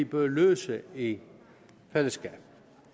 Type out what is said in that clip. bør løse i fællesskab